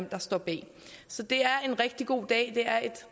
der står bag så det er en rigtig god dag det er et